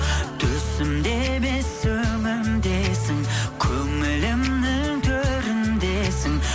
түсімде емес өңімдесің көңілімнің төріндесің